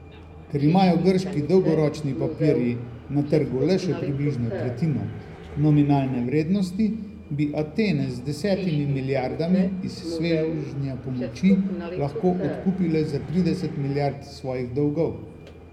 Ker imajo grški dolgoročni papirji na trgu le še približno tretjino nominalne vrednosti, bi Atene z desetimi milijardami iz svežnja pomoči lahko odkupile za trideset milijard svojih dolgov.